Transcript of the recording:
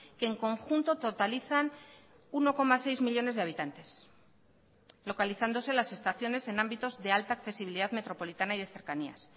que en conjunto totalizan uno coma seis millónes de habitantes localizándose las estaciones en ámbitos de alta accesibilidad metropolitana y de cercanías